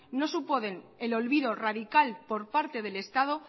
no supone el olvido radical por parte del estado